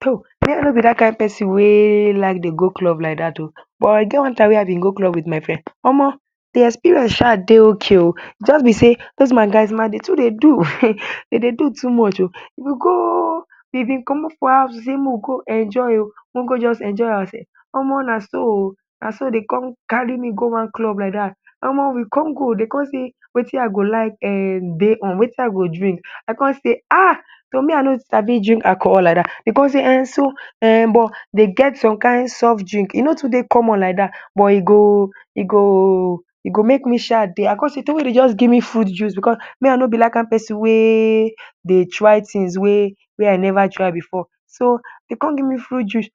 Toh me I no b dat kind person wey like dey go club like dat oh, but e get one time wey I bin go club with my friend Omo de experience sha dey ok oh, e jus b sey those my guys dem too dey do dem dey do too much oh, we go, we bin commot from house we dey make we go enjoy oh make we go just enjoy our self, Omo na so oo, naso dem con carry me go one club like dat, Omo we go dem cin sey Wetin I go like um dey on, Wetin I go drink I con say ahh toh me I no sabi drink alcohol like dat dem con dey okay so but dem get some kind soft drink e no too dey common like dat but e go,e go make me sha dey I con say Toh make dem just give me fruit juice because me I no b dat kind person wey dey try thing wey I never try before, so dem cin give me fruit juice,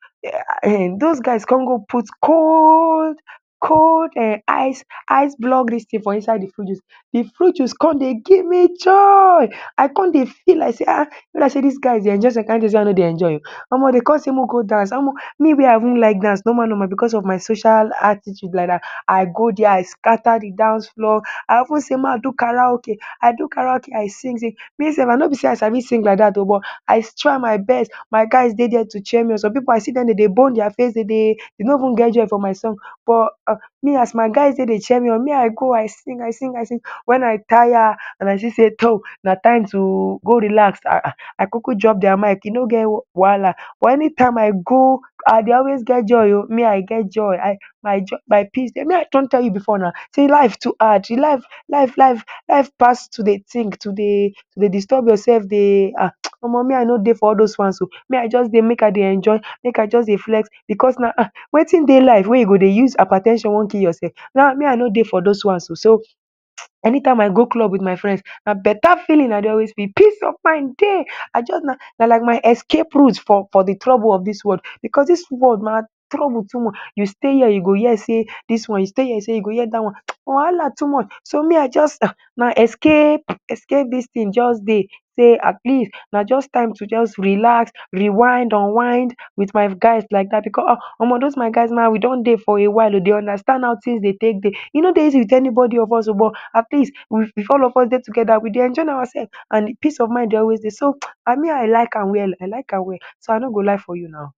um those guys con go put cold um ice block dis thing for inside de fruit juice, de fruit juice con dey give me joy I con dey feel like e b like dey dis guys dem sey I no dey enjoy oh, Omo dem cin sey make we go dance me wey I even like dance normal normal because of my social attitude like dat, I go there I scatter de dance floor I even say make I do karaoke, I do karaoke I sing sing, me sef no b dey I say sing like dat oh but I try my best my guys dey there to cheer me up some pipu I see dem dem dey bone dia face dem no even get joy for my song but me as my guys dey dey cheer me up me I go I sing I sing, when I tire as I see dey Toh na time to go relax I kukuwdrop dia mic e no get wahala, but anytime I go I dey always get joy me I get joy, my peace, me I don tell you before, dey life too hard, life, life pass to dey think to dey disturb yourself dey um Omo me I no dey for all those ones o me I jus dey make I dey enjoy make I just dey flex because na um Wetin dey life wey u dey use hyper ten sion wan kill yourself me I no dey for those ones oh, so anytime i go club with my friends na better feeling I dey always feel peace of mind wey I just na like my escape root for de trouble of dis world because dis world na trouble too much, u stay here u go hear sey dis one, I stay here u go hear dey dat one, wahala too much so me I just, na like escape dis thing just dey sey atleast na time to jus relax, rewind, unwind with my guys like dat because Omo those my guys we don dey for a while o, we dey understand how things dey take dey, e no dey easy with anybody of us o but atleast we dey together we dey enjoy ourselves and peace of mind dey always dey so, and me I like am well I like am well so I no go lie for you naw.